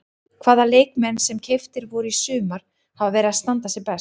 Hvaða leikmenn sem keyptir voru í sumar hafa verið að standa sig best?